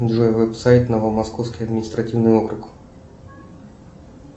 джой веб сайт новомосковский административный округ